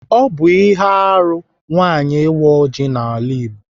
Ọ bụ ihe arụ nwaanyị ịwa ọjị n'ala Igbo.